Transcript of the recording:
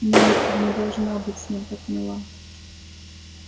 мелли ты не должна быть с ним так мила